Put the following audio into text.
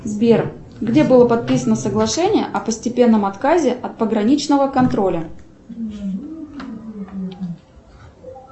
сбер где было подписано соглашение о постепенном отказе от пограничного контроля